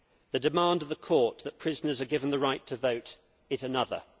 The demand of the Court that prisoners be given the right to vote is another.